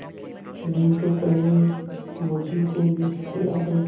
नहीं तो पहले मुझी को विष खिला दो